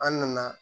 An nana